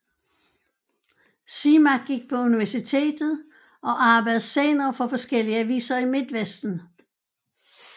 Simak gik på universitet og arbejdede senere for forskellige aviser i Midtvesten